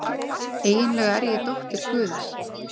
Eiginlega er ég dóttir guðs.